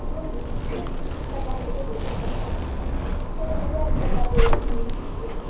ਸਾਡਾ ਕੰਮ ਤੇ ਗੋਲੂ ਕਰਦਾ ਘਰ ਦਾ ਫੇਰ ਮੈਂ ਦਿਆੜੀ